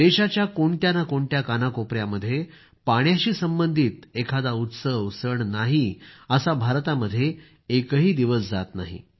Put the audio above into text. देशाच्या कोणत्या ना कोणत्या कानाकोपयामध्ये पाण्याशी संबंधित एखादा उत्सव सण नाही असा भारतामध्ये एकही दिवस जाणार नाही